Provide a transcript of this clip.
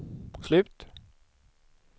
slut